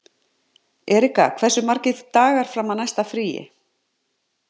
Erika, hversu margir dagar fram að næsta fríi?